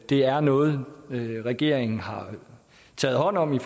det er noget regeringen har taget hånd om